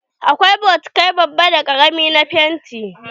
Akwai bokitai babba da ƙarami na fenti.